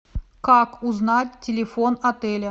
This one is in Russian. как узнать телефон отеля